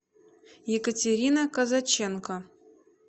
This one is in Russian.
екатерина казаченко